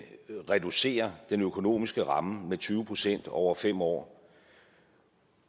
reducerer den økonomiske ramme med tyve procent over fem år